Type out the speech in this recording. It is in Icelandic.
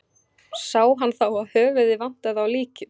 Sá hann þá að höfuðið vantaði á líkið.